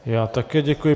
Já také děkuji.